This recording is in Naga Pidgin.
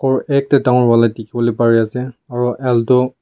ghor ekta dangor wala dikhi wo le pari ase aro alto --